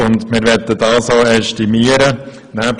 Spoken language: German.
Dies möchten wir ästimieren.